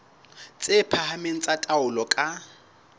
tse phahameng tsa taolo ka